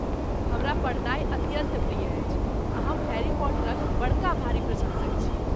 हमरा पढ़नाइ अत्यन्त प्रिय अछि आ हम हैरी पॉटरक बड़का भारी प्रशंसक छी।